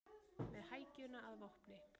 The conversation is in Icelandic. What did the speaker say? Með hækjuna að vopni